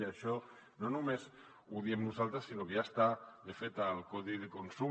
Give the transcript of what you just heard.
i això no només ho diem nosaltres sinó que ja està de fet al codi de consum